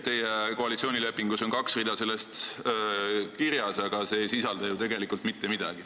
Teie koalitsioonilepingus on kaks rida sellest kirjas, aga see ei sisalda ju tegelikult mitte midagi.